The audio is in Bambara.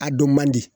A don man di